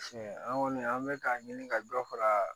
an kɔni an bɛ k'a ɲini ka dɔ fara